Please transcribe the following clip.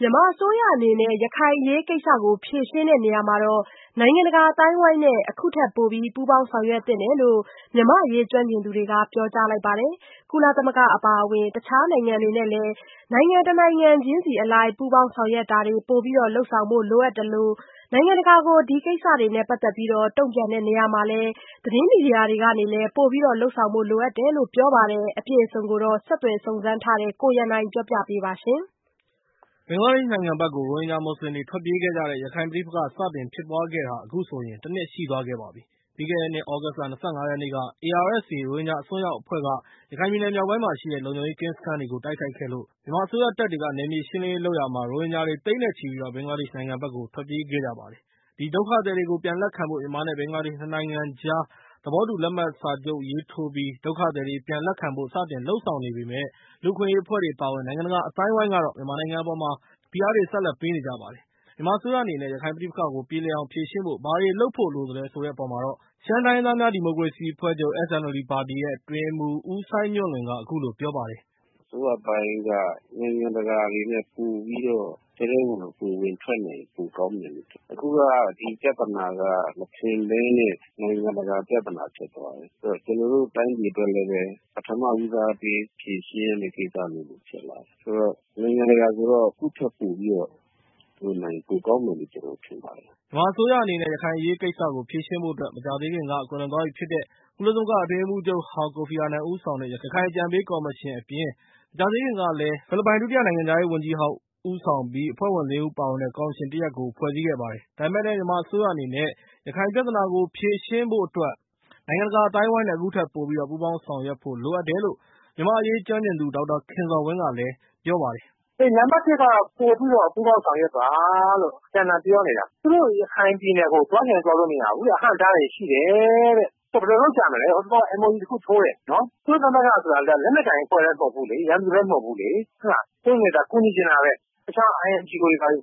မြန်မာအစိုးရအနေနဲ့ ရခိုင်အရေးကိစ္စကို ဖြေရှင်းတဲ့နေရာမှာ နိုင်ငံတကာအသိုင်းအဝိုင်းနဲ့ အခုထက်ပိုပြီး ပူးပေါင်းဆောင်ရွက်သင့်တယ်လို့ မြန်မာ့အရေးကျွမ်းကျင်သူတွေက ပြောကြားလိုက်ပါတယ်။ ကုလသမဂ္ဂ အပါအဝင် တခြားနိုင်ငံတွေနဲ့လည်း နိုင်ငံတနိုင်ငံချင်းစီအလိုက် ပူးပေါင်းဆောင်ရွက်တာတွေ လုပ်ဆောင်ဖို့ လိုအပ်သလို နိုင်ငံတကာကို ဒီကိစ္စနဲ့ ပတ်သက်ပြီး တုံ့ပြန်တဲ့နေရာမှာလည်း သတင်းမီဒီယာတွေကနေလည်း အခုထက်ပိုပြီး ထိထိရောက်ရောက်လုပ်ဆောင်ဖို့လိုအပ်တယ်လို့ ပြောပါတယ်။ ဒီကိစ္စနဲ့ ပတ်သက်ပြီး ဆက်သွယ်စုံစမ်းထားတဲ့ ကိုရန်နိုင်က တင်ပြပေးထားပါတယ်။ ဘင်္ဂလားဒေ့ရှ်နိုင်ငံဘက်ကို ရိုဟင်ဂျာမွတ်စလင်တွေထွက်ပြေးခဲ့တဲ့ ရခိုင်ပဋိပက္ခစတင်ဖြစ်ပွားခဲ့တာဟာ အခုဆိုရင် ၁ နှစ်ရှိသွားခဲ့ပါပြီ။ ပြီးခဲ့တဲ့နှစ်သြဂုတ်လ ၂၅ ရက်နေ့က ARSA ရိုဟင်ဂျာအစွန်းရောက်အဖွဲ့ ရခိုင်ပြည်နယ်မြောက်ပိုင်းမှာရှိတဲ့ လုံခြုံရေးကင်းစခန်းတွေကို တိုက်ခိုက်ခဲ့လို့ ဒါကို မြန်မာအစိုးရက နယ်မြေ ရှင်းလင်းလုပ်ရာမှာ ရိုဟင်ဂျာတွေ သိန်းနဲ့ချီပြီး ဘင်္ဂလားဒေ့ရှ်နိုင်ငံဘက်ကို ထွက်ပြေးခဲ့ကြပါတယ်။ ဒီဒုက္ခသည် တွေကို ပြန်လက်ခံဖို့ မြန်မာ နဲ့ ဘင်္ဂလားဒေ့ရှ်နိုင်ငံကြား ၂ နိုင်ငံသဘောတူစာချုပ်ကို လက်မှတ်ရေးထိုးပြီး ဒုက္ခသည်တွေ ပြန်လက်ခံဖို့ စတင်လုပ်ဆောင်နေပေမယ့်၊ လူ့အခွင့်အရေးအဖွဲ့တွေအပါအဝင် နိုင်ငံတကာ အသိုင်းအဝိုင်းကတော့ မြန်မာနိုင်ငံအပေါ် ဆက်လက်ဖိအားတွေပေးနေကြပါတယ်။ မြန်မာအစိုးရအနေနဲ့ ရခိုင်ပဋိပက္ခကိုပြေလည်အောင်ဖြေရှင်ဖို့ ဘာတွေလုပ်ဖို့လိုသလဲဆိုတဲ့အပေါ်မှာတော့ ရှမ်းတိုင်းရင်းသာများဒီမိုကရေစီအဖွဲ့ချုပ် SNLD ပါတီရဲ့အတွင်းရေးမှူး ဦးစိုင်းညွှန့်လွင်က အခုလို ပြောပါတယ်။ “အစိုးရပိုင်းက နိုင်ငံတကာတွေနဲ့ပိုပြီး ထဲထဲဝင်ဝင် ဝင်ထွက်နိုင်ရင် ပိုကောင်းမယ်လို့ထင်တယ်။ အခုက ဒီပြဿနာက မထင်ဘဲနဲ့ နိုင်ငံတကာ ပြဿနာဖြစ်လာတယ်။ အဲဒီတော့ ကျနော်တို့ တိုင်းပြည်အတွက်လည်း ပထမဦးစားပေး ဖြေရှင်းရမယ့် ကိစ္စမျိုးလို ဖြစ်လာတယ်။ ဆိုတော့-နိုင်ငံတကာဆိုတော့ သူ့ထက်ပိုပြီးတော့ လုပ်နိုင်ရင် ပိုကောင်းမယ်လို့ ကျနော် ထင်ပါတယ်။” မြန်မာအစိုးရအနေနဲ့ ရခိုင်အရေးကိစ္စကိုဖြေရှင်းဖို့အတွက် မကြာသေးခင်က ကွယ်လွန်သွားပြီဖြစ်တဲ့ ကုလသမဂ္ဂ အတွင်းရေးမှူးချုပ်ဟောင် ကိုဖီအာနန် ဦးဆောင်တဲ့ ရခိုင်အကြံပေးကော်မရှင်အပြင် မကြာသေး ခင်ကလည်း ဖိလစ်ပိုင်ဒု-နိုင်ငံခြားရေးဝန်ကြီးဟောင်းဦးဆောင်တဲ့ အဖွဲ့ဝင် ၄ ဦးပါဝင်တဲ့ ကော်မရှင် တရပ်ကိုလည်း ဖွဲ့စည်းခဲ့ပါတယ်။ ဒါပေမဲ့လည်း မြန်မာအစိုးရအနေနဲ့ ရခိုင်ပြဿနာကို ဖြေရှင်းဖို့အတွက် နိုင်ငံတကာအသိုင်းအဝိုင်းနဲ့ အခုထက် ပိုပြီးပူးပေါင်းဆောင်ရွကို့လိုအပ်တယ်လို့ မြန်မာ့အရေးကျွမ်းကျင်သူ ဒေါက်တာခင်ဇော်ဝင်းက ပြောပါတယ်။ “နံပါတ်တစ်က ပိုပြီးတော့ ပူးပေါင်းဆောင်ရွက်ပါ-လို့ အတန်တန် ပြောနေတာ။ သူတို့ ရခိုင်ပြည်နယ်ကို သွားချင်တိုင်းသွားလို့မရဘူးဗျ။ အဟန့်အတားတွေ ရှိတယ်-တဲ့။ အဲဒါ ဘယ်လို လုပ်ကြမလဲ။ ဟိုတလောက MOU တခုထိုးတယ်-နော်။ ကုလသမဂ္ဂဆိုတာ လက်နက်ကိုင် အဖွဲ့လည်း မဟုတ်ဘူးလေ။ ရန်သူလည်း မဟုတ်ဘူးလေ်- ဟုတ်လား။ ကူညီချင်တာပဲ။ တခြား INGO တွေ ထည့်